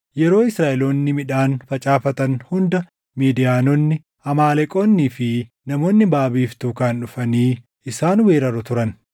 Yeroo Israaʼeloonni midhaan facaafatan hunda Midiyaanonni, Amaaleqoonnii fi namoonni baʼa biiftuu kaan dhufanii isaan weeraru turan.